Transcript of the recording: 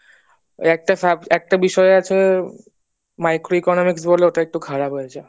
একটা sub একটা বিষয় আছে microeconomics বলে ওটা একটু খারাপ হয়েছে